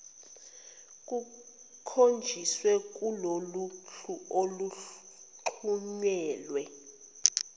kukhonjisiwe kuloluhlu oluxhunyelwe